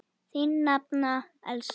Þín nafna, Elísa.